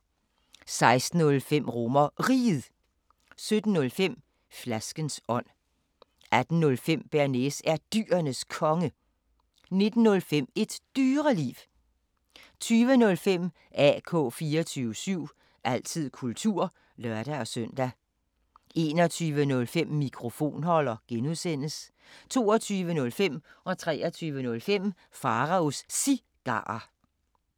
16:05: RomerRiget 17:05: Flaskens ånd 18:05: Bearnaise er Dyrenes Konge 19:05: Et Dyreliv 20:05: AK 24syv – altid kultur (lør-søn) 21:05: Mikrofonholder (G) 22:05: Pharaos Cigarer 23:05: Pharaos Cigarer